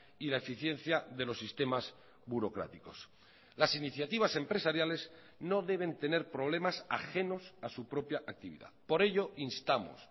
y la eficiencia de los sistemas burocráticos las iniciativas empresariales no deben tener problemas ajenos a su propia actividad por ello instamos